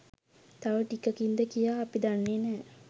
තව ටිකකින්ද කියා අපි දන්නේ නෑ.